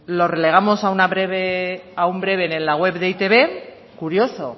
lo relegamos a un breve en la web de e i te be curioso